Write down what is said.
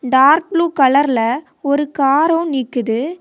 Dark blue கலர்ல ஒரு காரும் நிக்குது.